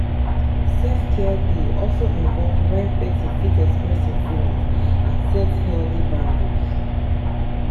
self care dey also involve when person fit express im feelings and set healthy boundaries